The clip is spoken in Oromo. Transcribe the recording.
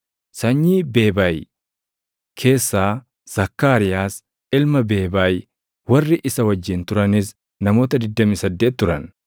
sanyii Beebay keessaa Zakkaariyaas ilma Beebay; warri isa wajjin turanis namoota 28 turan;